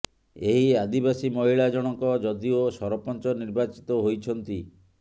ଏହି ଆଦିବାସୀ ମହିଳା ଜଣକ ଯଦିଓ ସରପଞ୍ଚ ନିର୍ବାଚିତ ହୋଇଛନ୍ତି